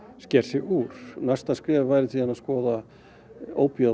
sker sig úr næsta skref væri að skoða